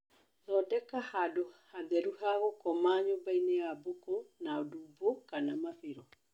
Thondeka handũ hatheru ha gũkoma nyũmbainĩ ya mbũkũ na ndumbo kana mabĩro